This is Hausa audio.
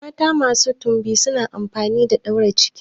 Mata masu timbi suna amfani da daure ciki.